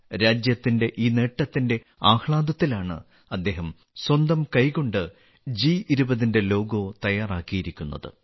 രാജ്യത്തിന്റെ ഈ നേട്ടത്തിന്റെആഹ്ളാദത്തിലാണ് അദ്ദേഹം സ്വന്തം കൈകൊണ്ട് ജി20ന്റെ ലോഗോ തയ്യാറാക്കിയിരിക്കുന്നത്